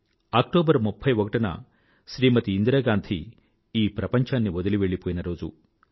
October 31 Shrimati Indira Gandhi ఈ ప్రపంఛాన్ని వదిలి వెళ్ళిపోయిన రోజు